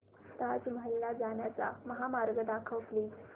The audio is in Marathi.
ताज महल ला जाण्याचा महामार्ग दाखव प्लीज